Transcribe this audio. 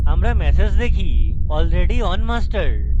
এর বদলে আমরা একটি ম্যাসেজ পাই: already on master